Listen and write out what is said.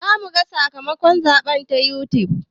Za muga sakamakon zaɓe ta yutub